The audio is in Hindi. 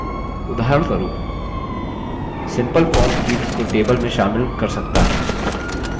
उदाहरणस्वरूप simple form fields को table में शामिल कर सकता है